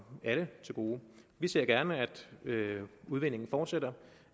alle til gode vi ser gerne at udvindingen fortsætter